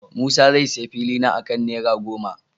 Musa zai sayi filina akan naira goma.